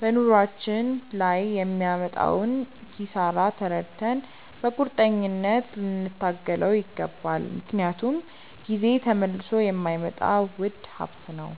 በኑሯችን ላይ የሚያመጣውን ኪሳራ ተረድተን በቁርጠኝነት ልንታገለው ይገባል፤ ምክንያቱም ጊዜ ተመልሶ የማይመጣ ውድ ሀብት ነው።